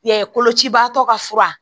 Ya ye kolocibaatɔ ka fura